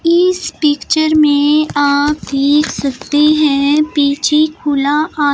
इस पिक्चर में आप देख सकते हैं पीछे खुला आस--